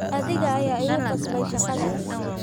Adiga ayaa igu qasbay shaqadaas